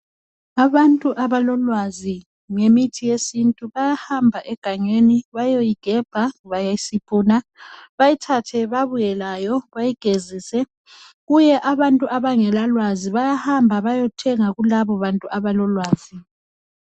Abantu abalolwazi ngemithi yesintu bayahamba egangeni bayoyigebha bayisiphune bayithathe babuye layo bayigezise kubuye abantu abangelalwazi bayahamba bayethenga kulababantu abalolwazi.